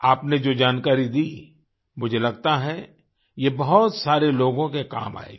आपने जो जानकारी दी मुझे लगता है ये बहुत सारे लोगों के काम आयेगी